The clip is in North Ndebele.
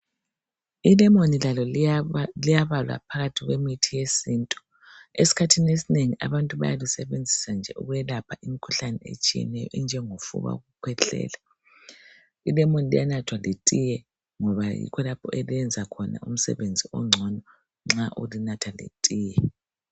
Ilemoni lalo liyabalwa phakathi kwemithi yesintu. Eskhathini esinengi abantu balisenzisa nje ukwelapha imikhuhlane etshiyeneyo enje ngokukwehlela. Ilemoni liyanathwa lethiye ngoba yikho lapho eliyenza khona umsebenzi ongcono nxa ulinatha lethiye.